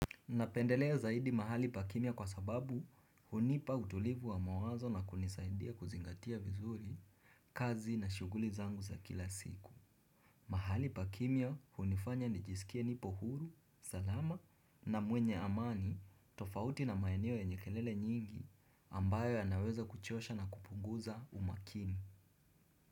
Napendelea zaidi mahali pakimya kwa sababu hunipa utulivu wa mawazo na kunisaidia kuzingatia vizuri, kazi na shughuli zangu za kila siku. Mahali pakimya hunifanya nijisikie nipo huru, salama na mwenye amani tofauti na maeneo yenye kelele nyingi ambayo yanaweza kuchosha na kupunguza umakini.